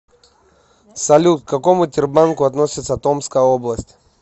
салют к какому тербанку относится томская область